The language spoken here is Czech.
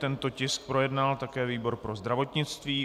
Tento tisk projednal také výbor pro zdravotnictví.